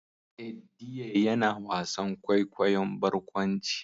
Eddie yana wasan kwaikwayon barkwanci